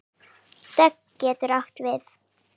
Dögg getur átt við